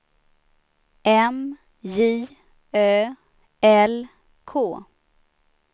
M J Ö L K